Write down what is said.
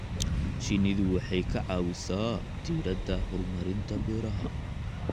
Shinnidu waxay ka caawisaa diiradda horumarinta beeraha.